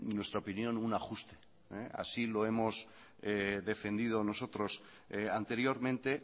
nuestra opinión un ajuste así lo hemos defendido nosotros anteriormente